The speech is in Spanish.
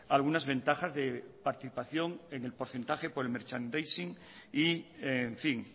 algunas ventajas de participación en el porcentaje por el merchandising y en fin